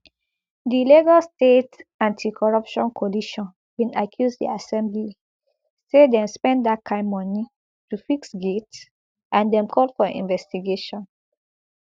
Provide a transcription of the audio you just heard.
di lagos state anticorruption coalition bin accuse di assembly say dem spend dat kain money to fix gate and dem call for investigation